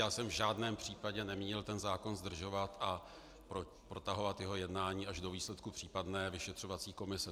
Já jsem v žádném případě nemínil ten zákon zdržovat a protahovat jeho jednání až do výsledku případné vyšetřovací komise.